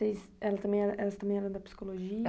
Elas também era, elas também eram da psicologia?